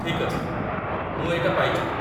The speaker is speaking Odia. ଠିକ୍ ଅଛି, ମୁଁ ଏଇଟା ପାଇଯିବି ।